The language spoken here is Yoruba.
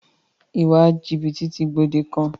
Ìwà jìbìtì ti gbòde kan.